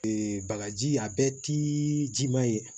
bagaji a bɛɛ ti jiman ye